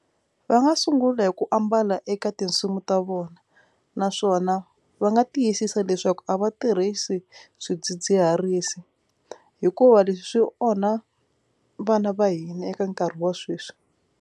Va nga sungula hi ku ambala eka tinsimu ta vona naswona va nga tiyisisa leswaku a va tirhisi swidzidziharisi hikuva leswi swi onha vana va hina eka nkarhi wa sweswi.